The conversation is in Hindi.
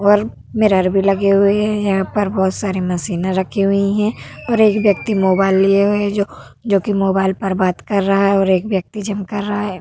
और मिरर भी लगे हुए हैं। यहाँ पर बहोत सारी मशीन रखी हुई हैं और एक व्यक्ति मोबाइल लिए हुए है जो जोकि मोबाइल पर बात कर रहा है और एक व्यक्ति जिम कर रहा है।